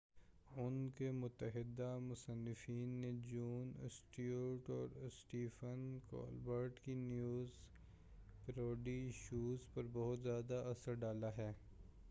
ان کے متعدد مصنفین نے جون اسٹیورٹ اور اسٹیفن کولبرٹ کی نیوز پیروڈی شوز پر بہت زیادہ اثر ڈالا ہے